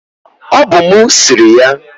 Ọ bụ mụ siri ya.